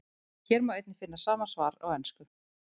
Hér má einnig finna sama svar á ensku.